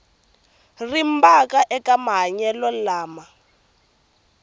rimba eka mahlayelo lama nga